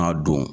N'a don